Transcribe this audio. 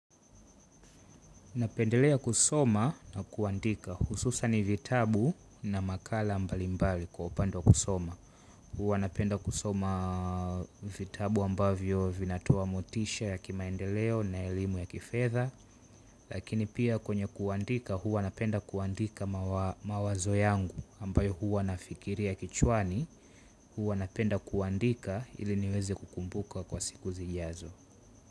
Napendelea kusoma na kuandika. Hususani vitabu na makala mbalimbali kwa upande wa kusoma. Huwa napenda kusoma vitabu ambavyo vinatoa motisha ya kimaendeleo na elimu ya kifedha. Lakini pia kwenye kuandika huwa napenda kuandika mawazo yangu ambayo huwa nafikiria kichwani. Huwa napenda kuandika ili niweze kukumbuka kwa siku zijazo.